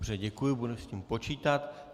Dobře, děkuji, budu s tím počítat.